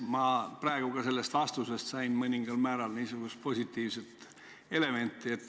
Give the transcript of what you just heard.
Ma praegu ka selles vastuses kuulsin mõningal määral niisugust positiivset elementi.